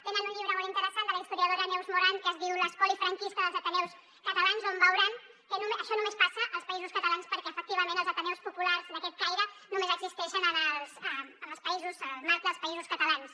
tenen un llibre molt interessant de la historiadora neus moran que es diu l’espoli franquista dels ateneus catalans on veuran que això només passa als països catalans perquè efectivament els ateneus populars d’aquest caire només existeixen en el marc dels països catalans